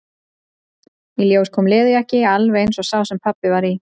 Í ljós kom leðurjakki, alveg eins og sá sem pabbi var í.